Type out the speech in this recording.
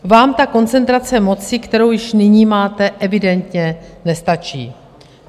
Vám ta koncentrace moci, kterou již nyní máte, evidentně nestačí.